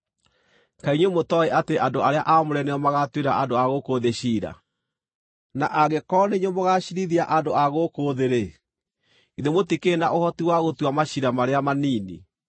Kaĩ inyuĩ mũtooĩ atĩ andũ arĩa aamũre nĩo magaatuĩra andũ a gũkũ thĩ ciira? Na angĩkorwo nĩ inyuĩ mũgaaciirithia andũ a gũkũ thĩ-rĩ, githĩ mũtikĩrĩ na ũhoti wa gũtua maciira marĩa manini?